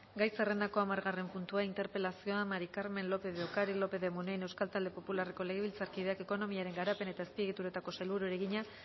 gai zerrendako hamargarren puntua interpelazioa mari carmen lópez de ocariz lopez munain euskal talde popularreko legebiltzarkideak ekonomiaren garapen eta azpiegituretako sailburuari egina